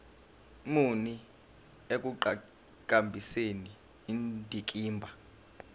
muni ekuqhakambiseni indikimba